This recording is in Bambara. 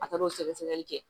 A taar'o sɛgɛ sɛgɛli kɛ